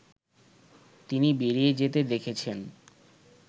তিনি বেরিয়ে যেতে দেখেছেন